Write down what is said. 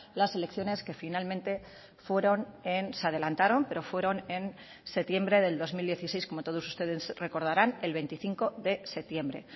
las elecciones que finalmente fueron en se adelantaron pero fueron en septiembre del dos mil dieciséis como todos ustedes recordarán el veinticinco de septiembre